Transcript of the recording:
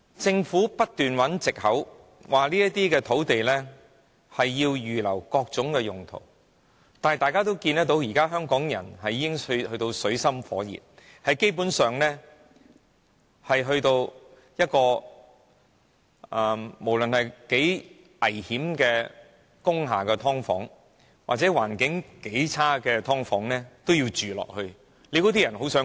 政府不斷找藉口說這些土地要預留作各種用途，但香港人已到了水深火熱的境地，無論如何危險的工廈"劏房"，環境如何惡劣，都有人會繼續住下去。